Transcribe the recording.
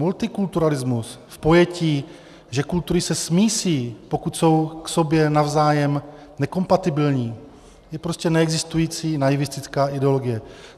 Multikulturalismus v pojetí, že kultury se smísí, pokud jsou k sobě navzájem nekompatibilní, je prostě neexistující naivistická ideologie.